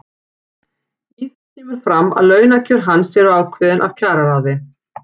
Í þeim kemur fram að launakjör hans eru ákveðin af kjararáði.